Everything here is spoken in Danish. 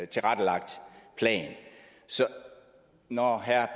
tilrettelagt plan så når herre